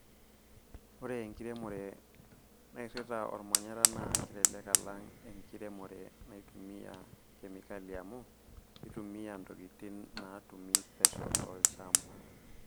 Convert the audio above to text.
Ore enkiremore nairita olmanyara naa kelelek alang' enkiremore naitumiya kemikal amuu keitumiya ntokitin naatumi pesho tolchamba.